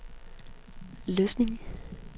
Løsning